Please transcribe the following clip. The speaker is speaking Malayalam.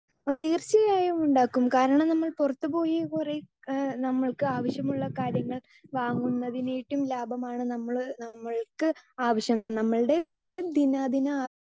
സ്പീക്കർ 2 തീർച്ചയായും ഉണ്ടാകും കാരണം നമ്മൾ പുറത്തു പോയി കൊറേ എഹ് നമുക്ക് ആവശ്യമുള്ള കാര്യങ്ങൾ വാങ്ങുന്നതിനെറ്റും ലാഭമാണ് നമ്മൾ നമ്മൾക്ക് ആവിശ്യം നമ്മൾടെ ദിനാ ദിന